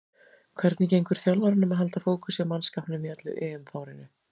Hvernig gengur þjálfaranum að halda fókus hjá mannskapnum í öllu EM-fárinu?